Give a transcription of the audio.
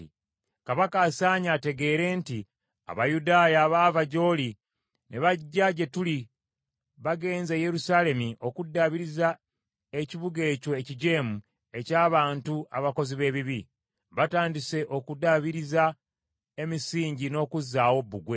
Kabaka asaanye ategeere nti Abayudaaya abaava gy’oli ne bajja gye tuli bagenze e Yerusaalemi okuddaabiriza ekibuga ekyo ekijeemu eky’abantu abakozi b’ebibi. Batandise okuddaabiriza emisingi n’okuzaawo bbugwe.